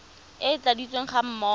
e e tladitsweng ga mmogo